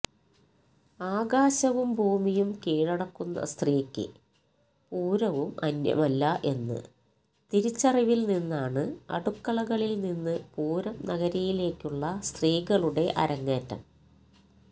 ആകാശവും ഭൂമിയും കീഴടക്കുന്ന സ്ത്രീക്ക് പൂരവും അന്യമല്ല എന്ന് തിരിച്ചറിവിൽ നിന്നാണ് അടുക്കളകളിൽനിന്ന് പൂരം നഗരിയിലേക്കുള്ള സ്ത്രീകളുടെ അരങ്ങേറ്റം